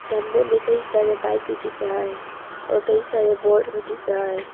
सामने भी कई सारे बाइक भी दिख रहा है और कई सारे बोर्ड में दिख रहा है।